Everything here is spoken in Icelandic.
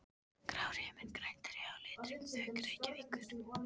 Grár himinn, græn tré og litrík þök Reykjavíkur.